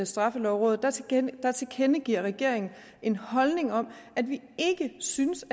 straffelovrådet tilkendegiver regeringen en holdning om at vi ikke synes